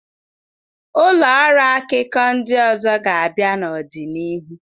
Ụlọ ọrụ akụkọ ndị ọzọ ga-abịa n'ọdịnihu.